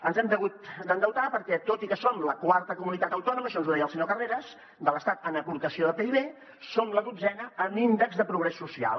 ens hem hagut d’endeutar perquè tot i que som la quarta comunitat autònoma això ens ho deia el senyor carreras de l’estat en aportació de pib som la dotzena en índex de progrés social